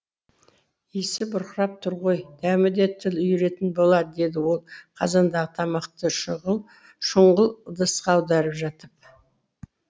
исі бұрқырап тұр ғой дәмі де тіл үйіретін болар деді ол қазандағы тамақты шұңғыл ыдысқа аударып жатып